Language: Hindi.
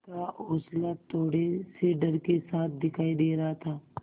का हौंसला थोड़े से डर के साथ दिखाई दे रहा था